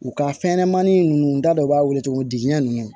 U ka fɛnɲɛnɛmanin ninnu u da dɔ b'a wele tugun digiɲɛn ninnu